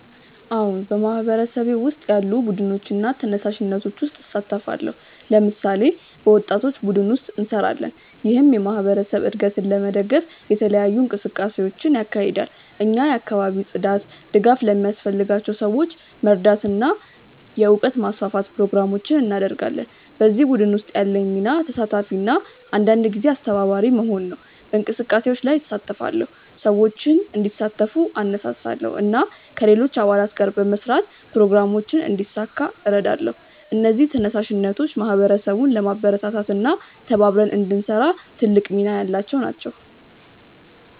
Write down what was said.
አዎን፣ በማህበረሰቤ ውስጥ ያሉ ቡድኖችና ተነሳሽነቶች ውስጥ እሳተፋለሁ። ለምሳሌ፣ በወጣቶች ቡድን ውስጥ እንሰራለን፣ ይህም የማህበረሰብ እድገትን ለመደገፍ የተለያዩ እንቅስቃሴዎችን ያካሂዳል። እኛ የአካባቢ ጽዳት፣ ድጋፍ ለሚያስፈልጋቸው ሰዎች መርዳት እና የእውቀት ማስፋፋት ፕሮግራሞችን እናደርጋለን። በዚህ ቡድን ውስጥ ያለኝ ሚና ተሳታፊ እና አንዳንድ ጊዜ አስተባባሪ መሆን ነው። በእንቅስቃሴዎች ላይ እሳተፋለሁ፣ ሰዎችን እንዲሳተፉ እነሳሳለሁ እና ከሌሎች አባላት ጋር በመስራት ፕሮግራሞችን እንዲሳካ እረዳለሁ። እነዚህ ተነሳሽነቶች ማህበረሰቡን ለማበረታታት እና ተባብረን እንድንሰራ ትልቅ ሚና ያላቸው ናቸው።